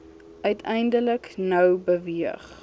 uiteindelik nou beweeg